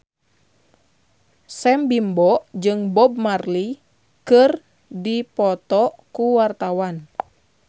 Sam Bimbo jeung Bob Marley keur dipoto ku wartawan